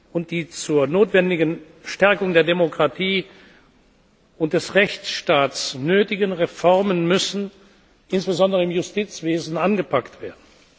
und die zur notwendigen Stärkung der Demokratie und des Rechtsstaats nötigen Reformen müssen insbesondere im Justizwesen angepackt werden.